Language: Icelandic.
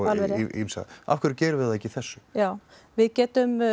ýmsa af hverju gerum við það ekki í þessu við getum